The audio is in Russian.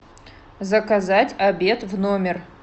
заказать обед в номер